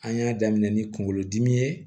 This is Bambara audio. An y'a daminɛ ni kunkolodimi ye